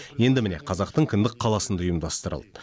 енді міне қазақтың кіндік қаласында ұйымдастырылды